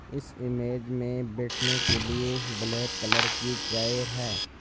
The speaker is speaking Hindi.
इस इमेज में बैठने के लिए ब्लैक कलर की चेयर हैं।